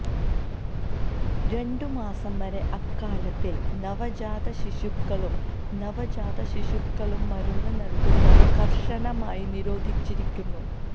രണ്ടുമാസം വരെ അകാലത്തിൽ നവജാതശിശുക്കളും നവജാതശിശുക്കളും മരുന്ന് നൽകുന്നത് കർശനമായി നിരോധിച്ചിരിക്കുന്നു